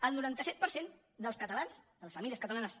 el noranta set per cent dels catalans de les famílies catalanes